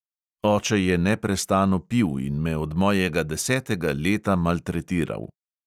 Oče je neprestano pil in me od mojega desetega leta maltretiral.